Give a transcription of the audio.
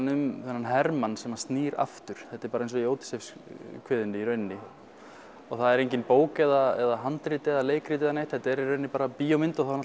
um þennan hermann sem snýr aftur þetta er bara eins og í Ódysseifskviðunni í rauninni og það er enginn bók eða handrit eða leikrit eða neitt þetta er í rauninni bara bíómynd og þá